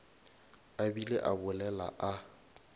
a bile a bolela a